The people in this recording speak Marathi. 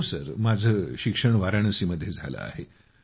हो माझे शिक्षण वाराणसी मध्ये झाले आहे